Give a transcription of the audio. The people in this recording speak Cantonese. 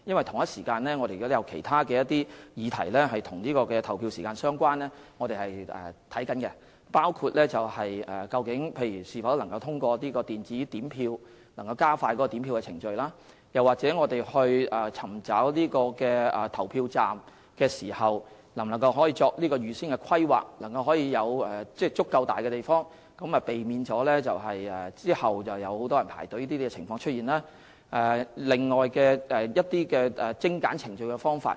同一時間，我們正研究其他與投票時間相關的議題，包括能否通過電子點票來加快點票程序；在尋找地方作投票站時能否預先規劃，務求有足夠大的地方，避免有很多人排隊輪候投票的情況出現；以及其他精簡程序的方法。